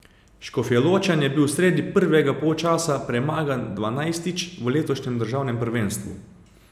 Škofjeločan je bil sredi prvega polčasa premagan dvanajstič v letošnjem državnem prvenstvu.